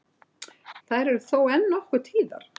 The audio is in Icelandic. Þær eru þó enn nokkuð tíðar